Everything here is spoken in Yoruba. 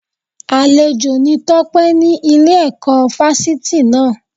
Àlejò ni Tọ́pé ní Ile ẹ̀kọ́ Fásitì náà